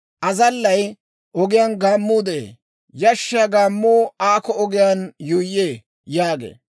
Azallay, «Ogiyaan gaammuu de'ee; yashshiyaa gaammuu aakko ogiyaan yuuyyee» yaagee.